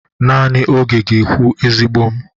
Nanị oge ga-ekwu, ezigbo m.